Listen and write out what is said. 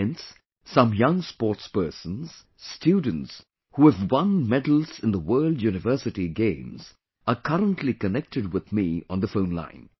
Hence, some young sportspersons, students who have won medals in the World University Games are currently connected with me on the phone line